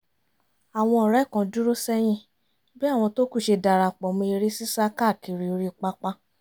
àwọn ọ̀rẹ́ kan dúró sẹ́yìn bí àwọn tó kù ṣe darapọ̀ mọ́ eré sísá káàkiri orí pápá